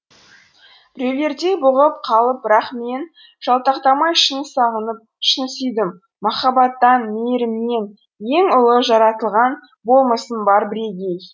біреулердей бұғып қалып бірақ мен жалтақтамай шын сағынып шын сүйдім махаббаттан мейірімнен ең ұлы жаратылған болмысым бар бірегей